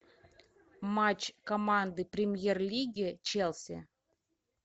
матч команды премьер лиги челси